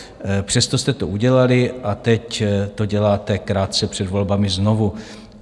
Přesto jste to udělali a teď to děláte krátce před volbami znovu.